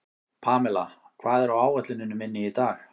Pamela, hvað er á áætluninni minni í dag?